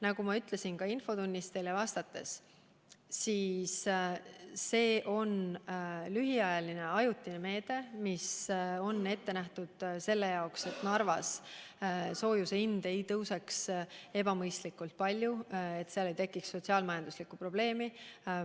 Nagu ma ka infotunnis vastates ütlesin, on see lühiajaline, ajutine meede, mis on ette nähtud selleks, et Narvas soojuse hind ei tõuseks ebamõistlikult palju ja seal ei tekiks sotsiaal-majanduslikku probleemi.